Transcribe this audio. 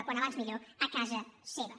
com abans millor a casa seva